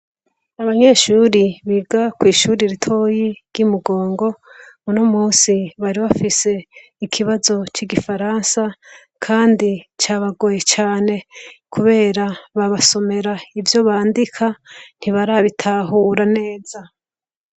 Abanyeshuri biga kw'ishuri ritoyi ry'imugongo uno musi bari bafise ikibazo c'igifaransa, kandi ca bagoye cane, kubera babasomera ivyo bandika ntibarabitahura neza.